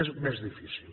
és més difícil